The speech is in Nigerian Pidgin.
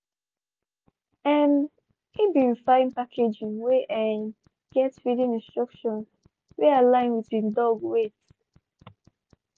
um he been fine packaging wey um get feeding instructions wey align with he dog weight.